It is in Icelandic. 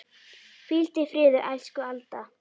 Hvíldu í friði, elsku Alda.